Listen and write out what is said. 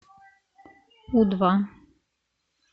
у два